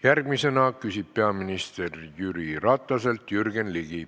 Järgmisena küsib peaminister Jüri Rataselt Jürgen Ligi.